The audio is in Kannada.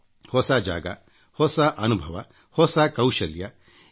ಹೊಸ ಜಾಗಹೊಸ ಅನುಭವ ಹೊಸ ಕೌಶಲ್ಯ ಪಡೆಯಿರಿ